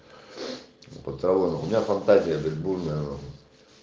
под травой блять у меня фантазия бурная нахуй